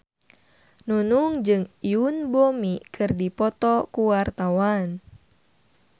Nunung jeung Yoon Bomi keur dipoto ku wartawan